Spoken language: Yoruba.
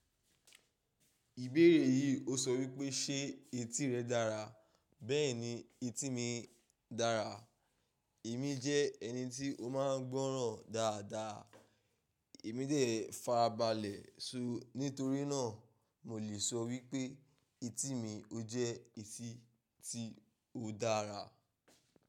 Ìbéèrè yìí ó sọ wípé ṣe etí rẹ̀ dára. Bẹ́ẹ̀ni etí mi dára. Èmi jẹ́ ẹni tí ó máa ń gbọ́ràn dáadáa. Èmi dà farabalẹ̀ so. Nítorí náà, mo lè sọ wípé etí mi ó jẹ́ etí tí ó dára.